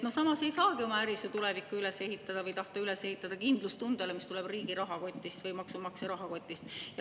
Samas ei saagi oma äri üles ehitada või tahta üles ehitada kindlustundele, mis tuleb riigi või maksumaksja rahakotist.